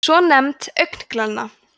svonefnd augnglenna